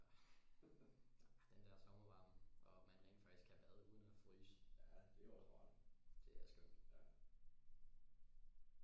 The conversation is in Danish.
Ja ah den der sommervarme og at man rent faktisk kan bade uden at fryse det er skønt